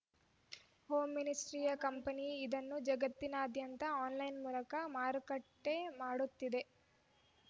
ಹೋಮ್‌ಮಿಸ್ಟಿಯರ್‌ company ಇದನ್ನು ಜಗತ್ತಿನಾದ್ಯಂತ online ಮೂಲಕ ಮಾರುಕಟ್ಟೆಮಾಡುತ್ತಿದೆ